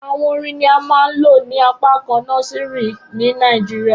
Awọn orin ni a maa n lo ni apakan nọsìrì ni Nigeria